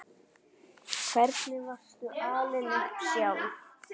Hvernig varstu alin upp sjálf?